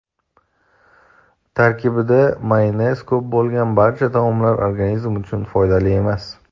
tarkibida mayonez ko‘p bo‘lgan barcha taomlar organizm uchun foydali emas.